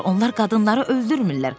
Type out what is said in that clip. Onlar qadınları öldürmürlər."